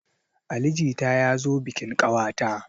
Ali jita ya zo bikin ƙawata.